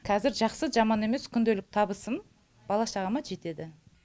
қазір жақсы жаман емес күнделікті табысым бала шағама жетеді